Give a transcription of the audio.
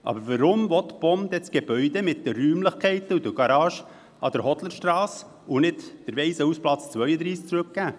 Aber weswegen will die POM das Gebäude mit den Räumlichkeiten und der Garage an der Hodlerstrasse und nicht den Waisenhausplatz 32 zurückgeben?